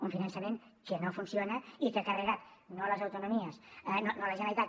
un finançament que no funciona i que ha carregat no a les autonomies no a la generalitat